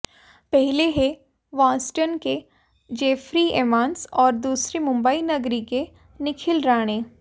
पहले हैं बॉस्टन के जेफरी एमॉस और दूसरे मुंबई नगरी के निखिल राणे